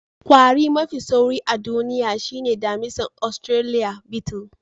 Kwari mafi sauri a duniya shine damisar Australiya Beetle.